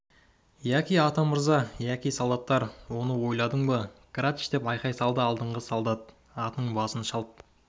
яки атамырза яки солдаттар оны ойладың ба грач деп айқай салды алдыңғы солдат атының басын шалт